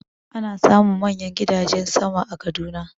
Ana samun manyan gidajen sama a Kaduna.